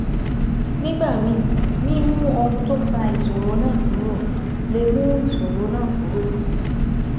Nígbà míì, mímú ohun tó fa ìṣòro náà kúrò lè mú ìṣòro náà kúrò